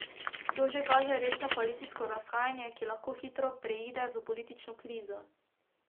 To že kaže resno koalicijsko razhajanje, ki lahko hitro preide v politično krizo.